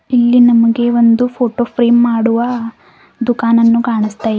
ಇಲ್ಲಿ ನಮಗೆ ಒಂದು ಫೋಟೋ ಫ್ರೇಮ್ ಮಾಡುವ ದುಕಾನನ್ನು ಕಾನಸ್ತ--